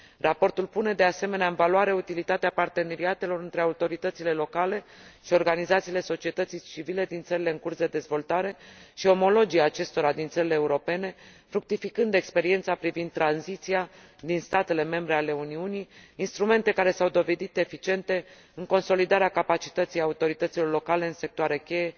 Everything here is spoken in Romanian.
Raportul pune de asemenea în valoarea utilitatea parteneriatelor între autoritățile locale și organizațiile societății civile din țările în curs de dezvoltare și omologii acestora din țările europene, fructificând experiența privind tranziția din statele membre ale Uniunii, instrumente care s au dovedit eficiente în consolidarea capacității autorităților locale în sectoare cheie,